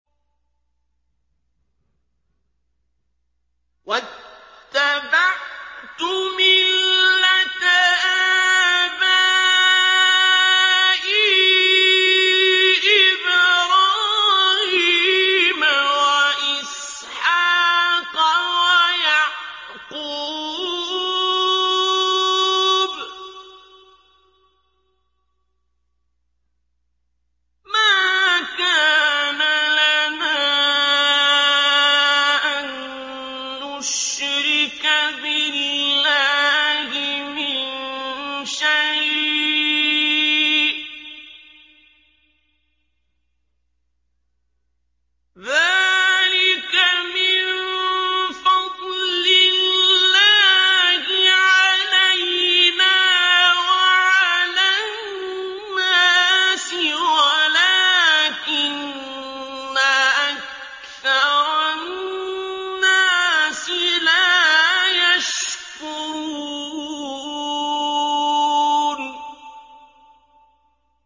وَاتَّبَعْتُ مِلَّةَ آبَائِي إِبْرَاهِيمَ وَإِسْحَاقَ وَيَعْقُوبَ ۚ مَا كَانَ لَنَا أَن نُّشْرِكَ بِاللَّهِ مِن شَيْءٍ ۚ ذَٰلِكَ مِن فَضْلِ اللَّهِ عَلَيْنَا وَعَلَى النَّاسِ وَلَٰكِنَّ أَكْثَرَ النَّاسِ لَا يَشْكُرُونَ